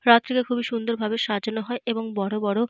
রথটিকে খুব সুন্দর ভাবে সাজানো হয় এবং বড়ো বড়ো।